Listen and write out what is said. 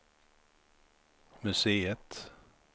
museet